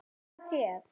Nægir það þér?